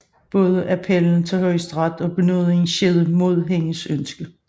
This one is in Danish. Både appellen til Højesteret og benådningen skete mod hendes ønske